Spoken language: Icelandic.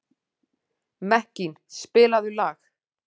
Mekkín, spilaðu lag.